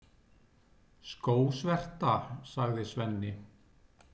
Skósverta, sagði Svenni.